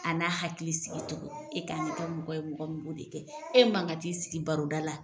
A n'a hakili sigi tugun e k'an ka kɛ mɔgɔ ye mɔgɔ min b'o de kɛ, e mankan ka t'i sigi baroda la.